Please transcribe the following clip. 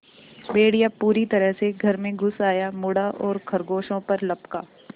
भेड़िया पूरी तरह से घर में घुस आया मुड़ा और खरगोशों पर लपका